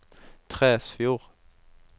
Tresfjord